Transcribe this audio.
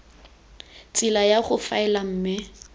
tsela ya go faela mme